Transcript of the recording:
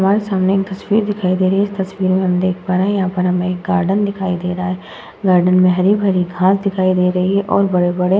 हमारे सामने तस्वीर दिखाई दे रही है इस तस्वीर में हम देख पा रहे हैं यहाँ पर हमें गार्डन दिखाई दे रहा है गार्डन में हरी-भरी घास दिखाई दे रही है और बड़े-बड़े --